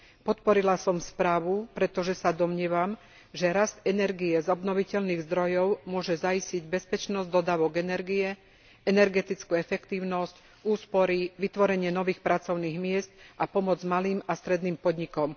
Podporila som správu, pretože sa domnievam, že rast energie z obnoviteľných zdrojov môže zaistiť bezpečnosť dodávok energie, energetickú efektívnosť, úspory, vytvorenie nových pracovných miest a pomoc malým a stredným podnikom.